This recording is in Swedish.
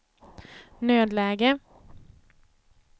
nödläge